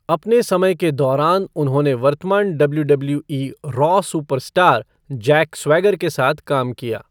अपने समय के दौरान उन्होंने वर्तमान WWE Raw superstar Jack Swagger के साथ काम किया।